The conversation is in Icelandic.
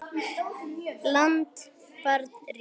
land barn ríki